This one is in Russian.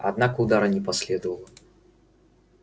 однако удара не последовало